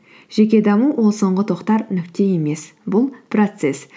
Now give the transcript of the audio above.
жеке даму ол соңғы тоқтар нүкте емес бұл процесс